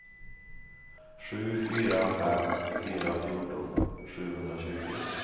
sju fyra fem fyra fjorton sjuhundratjugo